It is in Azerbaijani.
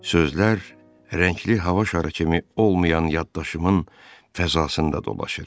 Sözlər rəngli hava şarı kimi olmayan yaddaşımın fəzasında dolaşır.